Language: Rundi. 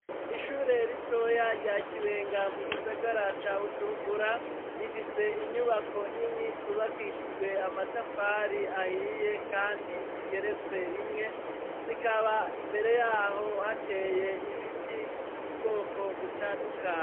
Ishure ritoya rya Kibenga mu gisagara ca Bujumbura, rifise inyubako nini zubakishijwe amatafari ahiye kandi zigeretse rimwe, zikaba imbere yaho hateye ibiti biri ubwoko butandukanye.